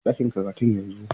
Tafi ɗakin karatu yanzu!